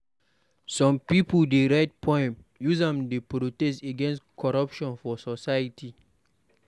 Some pipo dey write poem use am dey protest against corruption for society.